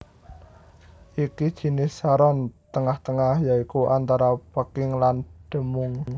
Iki jinis saron tengah tengah ya iku antara peking lan demung